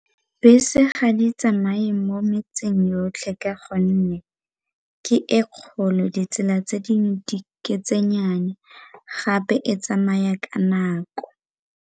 Bese ga di tsamaye mo metseng yotlhe ka gonne ke e kgolo ditsela tse dingwe ke tse nnyane gape e tsamaya ka nako.